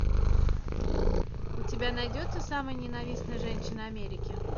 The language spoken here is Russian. у тебя найдется самая ненавистная женщина америки